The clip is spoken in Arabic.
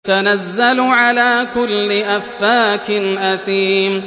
تَنَزَّلُ عَلَىٰ كُلِّ أَفَّاكٍ أَثِيمٍ